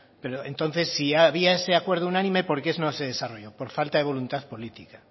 pero entonces si había ese acuerdo unánime por qué no se desarrolló por falta de voluntad política